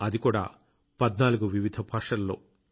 అది కూడా 14 వివిధ భాషలలో